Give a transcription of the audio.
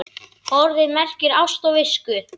Orðið merkir ást á visku.